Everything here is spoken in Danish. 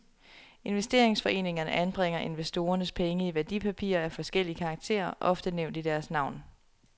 Investeringsforeningerne anbringer investorernes penge i værdipapirer af forskellig karakter, ofte nævnt i deres navn.